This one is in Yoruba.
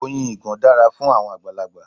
Oyin ìgàn dára fún àwọn àgbàlagbà.